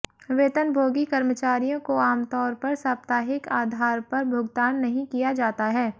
वेतनभोगी कर्मचारियों को आमतौर पर साप्ताहिक आधार पर भुगतान नहीं किया जाता है